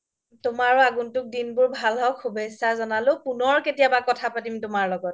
তুমাৰও আগন্তুক দিনবোৰ ভাল হওক শুভেচ্ছা জ্নালো পোনৰ কেতিয়া কথা পাতিম তুমাৰ লগত